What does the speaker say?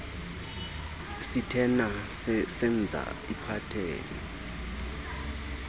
sitena senza iphatheni